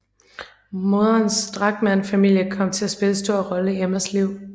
Moderens Drachmann familie kom til at spille en stor rolle i Emmas liv